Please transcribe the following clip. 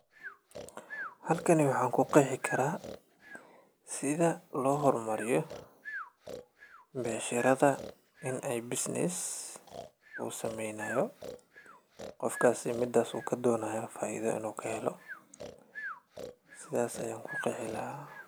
Halkani waxaan ku qeexi karaa sida loo hormariyo becsharada in ay business uu sameynaayo ,qofkaasi midaas uu ka donaayo faaida inuu ka helo ,sidaas ayaan ku qeexi lahaa.